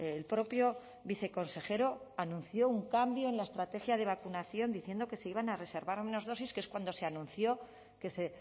el propio viceconsejero anunció un cambio en la estrategia de vacunación diciendo que se iban a reservar las menos dosis que es cuando se anunció que se